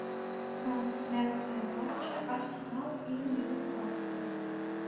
трансляция матча арсенал и ньюкасл